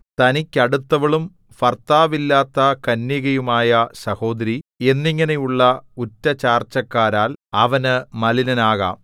തനിക്കടുത്തവളും ഭർത്താവില്ലാത്ത കന്യകയുമായ സഹോദരി എന്നിങ്ങനെയുള്ള ഉററ ചാർച്ചക്കാരാൽ അവനു മലിനനാകാം